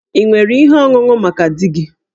Ị nwere ihe ọṅụṅụ maka di gị?